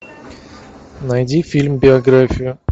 найди фильм биография